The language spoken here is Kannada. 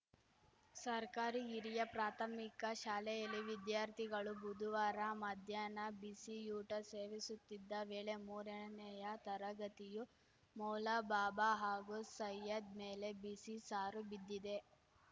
ಸರ್ಕಾರಿ ಹಿರಿಯ ಪ್ರಾಥಮಿಕ ಶಾಲೆಯಲ್ಲಿ ವಿದ್ಯಾರ್ಥಿಗಳು ಬುದುವಾರ ಮಧ್ಯಾಹ್ನ ಬಿಸಿಯೂಟ ಸೇವಿಸುತ್ತಿದ್ದ ವೇಳೆ ಮೂರನೇ ತರಗತಿಯು ಮೌಲಾಬಾಬಾ ಹಾಗೂ ಸೈಯದ್‌ ಮೇಲೆ ಬಿಸಿ ಸಾರು ಬಿದ್ದಿದೆ